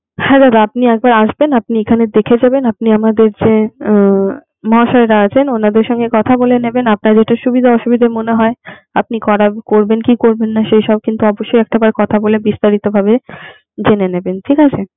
হ্যা দাদা আপনি একবার আসবেন আপনি এখানে দেখে যাবেন আপনি আমাদের যে উমম মহাশয়রা আছেন ওনাদের সাথে কথা বলে নেবেন আপনার যেটা সুবিধা অসুবিধা মনে হয় আপনি করা করবেন কি করবেন না সেইসব কিন্তু অবশ্যই একটাবার কথা বলে বিস্তারিত ভাবে জেনে নেবেন ঠিক আছে?